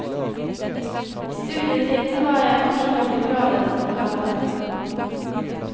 I studietiden var jeg kanskje både gladest og galest.